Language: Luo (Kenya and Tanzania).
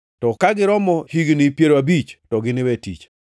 to ka giromo higni piero abich, to giniwe tich.